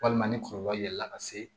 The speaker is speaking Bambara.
Walima ni kɔlɔlɔ ye la ka se